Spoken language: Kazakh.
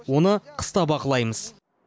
оны қыста бақылаймыз